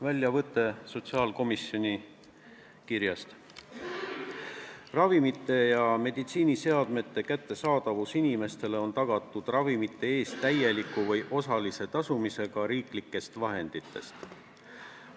Väljavõte sotsiaalkomisjoni kirjast: "Ravimite ja meditsiiniseadmete kättesaadavus inimestele on tagatud ravimite eest täieliku või osalise tasumisega riiklikest vahenditest.